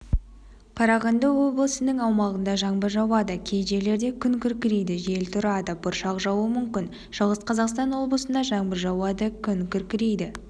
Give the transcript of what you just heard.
қарағанды облысының аумағында жаңбыр жауады кей жерлерде күн күркірейді жел тұрады бұршақ жаууы мүмкін шығыс қазақстан облысында жаңбыр жауады күн күркірейді